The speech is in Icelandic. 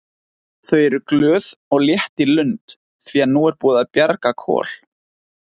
Þau eru glöð og létt í lund því að nú er búið að bjarga Kol.